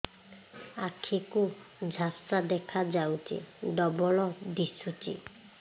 ଆଖି କୁ ଝାପ୍ସା ଦେଖାଯାଉଛି ଡବଳ ଦିଶୁଚି